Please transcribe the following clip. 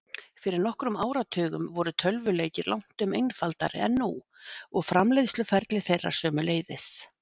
Fyrir nokkrum áratugum voru tölvuleikir langtum einfaldari en nú, og framleiðsluferli þeirra sömuleiðis.